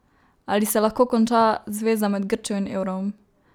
Ali se lahko konča zveza med Grčijo in evrom?